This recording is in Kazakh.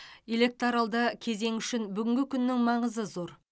электоралды кезең үшін бүгінгі күннің маңызы зор